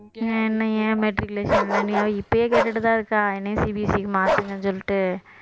என்னைய ஏன் matriculation ன்னு அவ இப்பயே கேட்டுட்டுதான் இருக்கா என்னைய CBSE க்கு மாத்துங்கன்னு சொல்லிட்டு